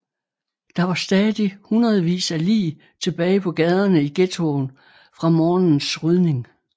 Der var stadig hundredvis af lig tilbage på gaderne i ghettoen fra morgenens rydning